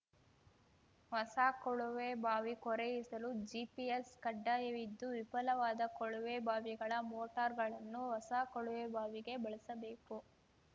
ಹೊಸ ಕೊಳವೆಬಾವಿ ಕೊರೆಯಿಸಲು ಜಿಪಿಎಸ್‌ ಕಡ್ಡಾಯವಿದ್ದು ವಿಫಲವಾದ ಕೊಳವೆಬಾವಿಗಳ ಮೋಟಾರ್‌ಗಳನ್ನು ಹೊಸ ಕೊಳವೆಬಾವಿಗೆ ಬಳಸಬೇಕು